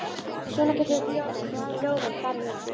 Svona geta ljóðin farið með okkur.